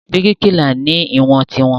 Bíríkìlà náà ni ìwọ̀n tiwọn.